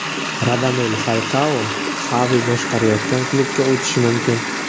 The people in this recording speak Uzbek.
Radamel Falkao Xavi boshqarayotgan klubga o‘tishi mumkin.